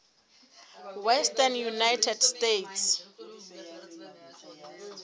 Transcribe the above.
western united states